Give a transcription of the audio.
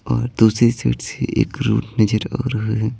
और दूसरी साइड से एक रूट नजर आ रहा है।